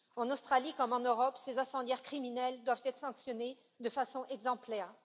En Australie comme en Europe, ces incendiaires criminels doivent être sanctionnés de façon exemplaire.